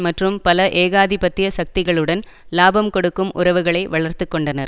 மற்றும் பல ஏகாதிபத்திய சக்திகளுடன் இலாபம் கொடுக்கும் உறவுகளை வளர்த்து கொண்டனர்